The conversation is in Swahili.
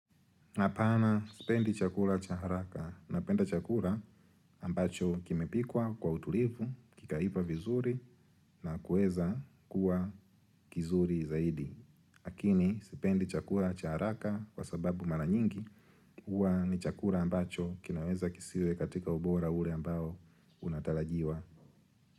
Hapana, sipendi chakula cha haraka, napenda chakula ambacho kimepikwa kwa utulivu, kikaiva vizuri na kuweza kuwa kizuri zaidi. Lakini, sipendi chakula cha haraka kwa sababu mara nyingi, huwa ni chakula ambacho kinaweza kisiwe katika ubora ule ambao unatarajiwa.